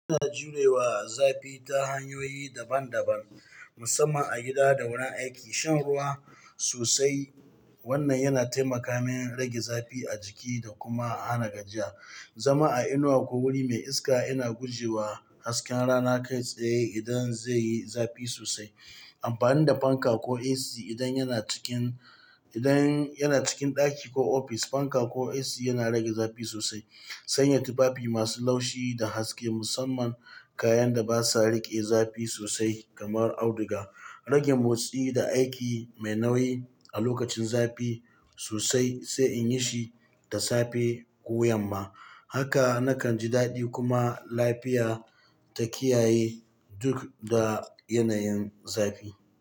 Ana jurewa zafi ta hanyoyi daban-daban, musamman a gida da wurin aiki. Shan ruwa sosai, wannan yana taimakawa rage zafi a jiki da kuma hana gajiya. Zama a inuwa ko wuri mai iska yana guje wa hasken rana kai tsaye idan zai yi zafi sosai. Amfani da fanka ko AC idan yana cikin, idan yana cikin ɗaki ko ofis, fanka ko AC yana rage zafi sosai. Sanya tufafi masu laushi da haske, musamman kayan da basa riƙe zafi sosai kamar auduga. Rage motsi da aiki mai nauyi a lokacin zafi sosai, sai in yi shi da safe ko yamma. Haka na kan ji daɗi kuma lafiya ta kiyaye duk da yanayin zafi.